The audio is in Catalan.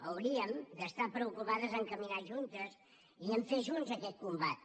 hauríem d’estar preocupades per caminar juntes i per fer junts aquest combat